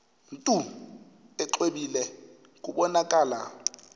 mntu exwebile kubonakala